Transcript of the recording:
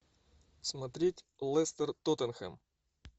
смотреть лестер тоттенхэм